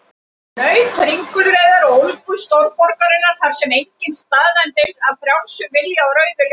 Naut ringulreiðar og ólgu stórborgarinnar, þar sem enginn staðnæmist af frjálsum vilja á rauðu ljósi.